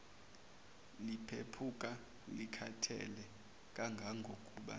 liphephuka likhathele kangangokuba